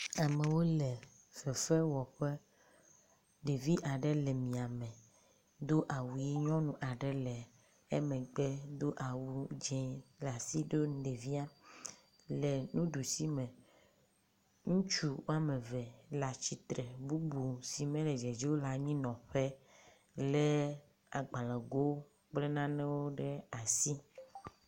Amewo le fefewɔƒe. Ɖevia aɖe le miame do awu ʋi. nyɔnu aɖe le emegbe do awu dzi le asi ɖo nu ɖevia le nuɖusi me. Ŋutsu wɔme eve le atsitre bubu si mele dzedze o le anyinɔƒe le agbalego kple nanewo ɖe asi.